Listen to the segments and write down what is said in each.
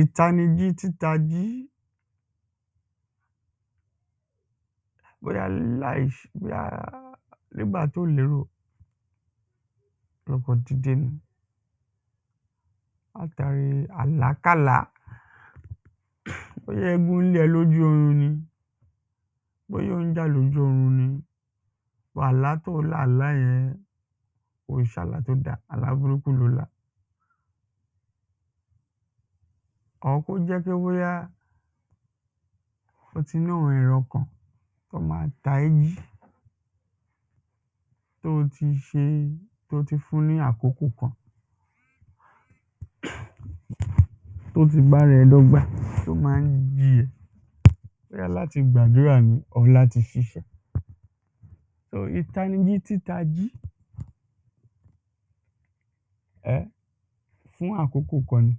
Ìtānījí títājí nígbà tó lérò tó kàn dìdē nī látàrí àlákàlá bóyá égún ń lé ẹ̄ lójú ōrūn nī bóyá ò ń jà lójú ōrū nī àlá tó lá àlá yẹ̄n kò é ṣē àlá tó dá àlá būrúkú lō lá. Or kó jẹ́ pé bóyá wọ́n tī ní àwọ̄n èrō ọ̄kàn tó má ń tā ẹ̄ jí tó tī ṣē tó tī fún ní àkókò kan tó tī bá ārā ẹ̄ dọ́gbā tó má ń jí ẹ̄ bóyá látī gbàdúrà nī or látī ṣīṣẹ́. So ìtānījí títājí fṹ àkókò kān nī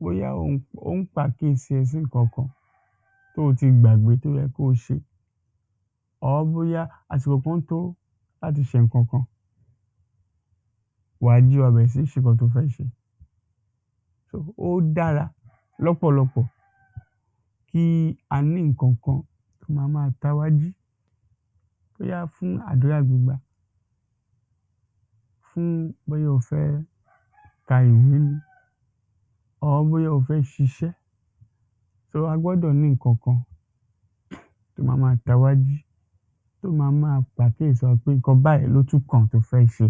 bóyá ò ń ò ń pàkíyèsí ẹ̄ sí n̄ǹkān kān tó tī gbàgbé tó yẹ̄ kó tī or bóyá àsìkò tó látī ṣē n̄ǹkān kan wàjí wàá bẹ̀rẹ̀ sí ní ṣē n̄ǹkān tó fẹ́ ṣē. Ó dárā lọ́pọ̀lọ̄pọ̀ kí ā ní n̄nkān kān tó má má tā wá jí bóyá fún àdúrà gbígbà fún bóyá ō fẹ́ kā ìwé nī or bóyá ō fẹ́ ṣīṣẹ́ tōrí ā gbọ́dọ̀ ní n̄ǹkān kān tó má má tā wá jí tó má má pàkíyèsí wā pé n̄ǹkān báyìí ló kàn tó fẹ́ ṣē.